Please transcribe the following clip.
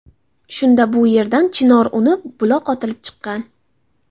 Shunda bu yerdan chinor unib, buloq otilib chiqqan.